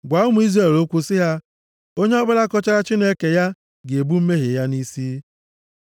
Gwa ụmụ Izrel okwu sị ha, ‘Onye ọbụla kọchara Chineke ya ga-ebu mmehie ya nʼisi ya.